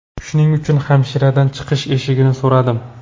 Shuning uchun hamshiradan chiqish eshigini so‘radim.